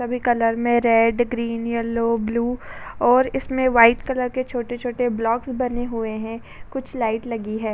सभी कलर में red green yellow blue और इसमें व्हाइट कलर के छोटे-छोटे ब्लॉक्स बने हुए हैं। कुछ लाइट लगी है।